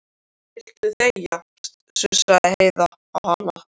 Viltu þegja, sussaði Heiða á hana.